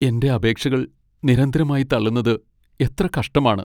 എന്റെ അപേക്ഷകൾ നിരന്തരമായി തള്ളുന്നത് എത്ര കഷ്ടമാണ്!